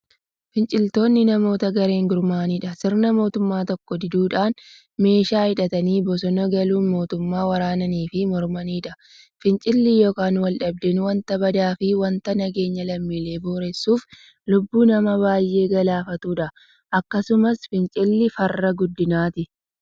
Finciltoonni namoota gareen gurmaa'udhaan sirna mootummaa tokkoo diduudhan meeshaa hidhatanii bosona galuun mootummaa waraananiifi mormaniidha. Fincilli yookiin waldhabdeen wanta badaafi wanta nageenya lammiilee boreessuufi lubbuu nama baay'ee galaafatuudha. Akkasumas fincilli farra guddinaati.